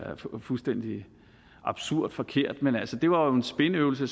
fuldstændig absurd forkert men altså det var jo en spinøvelse